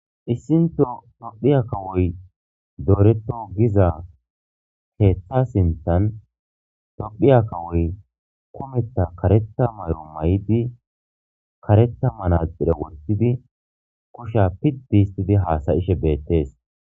Isinthon tophiya kawoy doreto giza keetha sinthan tophiya kawoy kumetha karetha mayoayid karetha manaxire wothid kusha pidi histid hasa'ishe betes